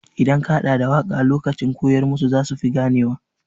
Idan ka haɗa da waƙa lokacin koyar musu za su fi gane wa.